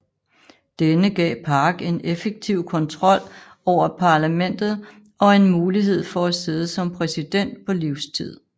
Denne gav Park en effektiv kontrol over parlamentet og en mulighed for at sidde som præsident på livstid